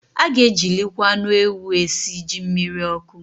A ga-ejilikwa anụ ewu esi jí mmiriọkụ